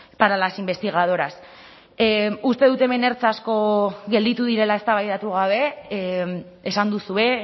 para las investigadoras uste dut hemen ertz asko gelditu direla eztabaidatu gabe esan duzue